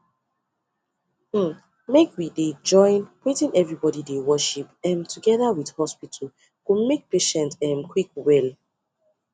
hmmmmake we dey join wetin everybody dey worship um together with hospital go make patient um quick well